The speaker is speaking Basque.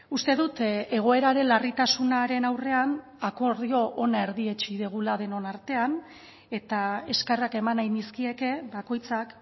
uste dut egoeraren larritasunaren aurrean akordio ona erdietsi dugula denon artean eta eskerrak eman nahi nizkieke bakoitzak